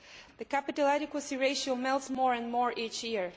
The capital adequacy ratio decreases more and more each year.